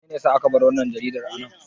Menene ya sa aka bar wannan jaridar a nan?